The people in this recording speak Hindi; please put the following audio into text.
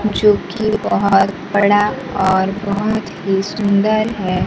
जोकि बोहोत बड़ा और बोहोत ही सुन्दर है।